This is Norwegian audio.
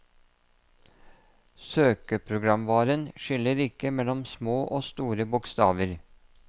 Søkeprogramvaren skiller ikke mellom små og store bokstaver.